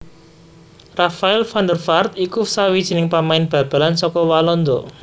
Rafael van der Vaart iku sawijining pamain bal balan saka Walanda